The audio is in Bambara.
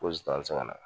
Ko an tɛ se ka na